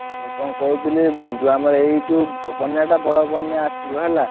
ହଁ କଣ କହୁଥିଲି ଯୋଉ ଆମର ଏଇ ଯୋଉ ବନ୍ୟା ଟା ବଡ ବନ୍ୟା ଆସିବ ହେଲା।